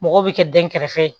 Mɔgɔw bɛ kɛ dɛnkɛrɛfɛ ye